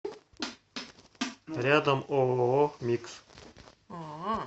рядом ооо микс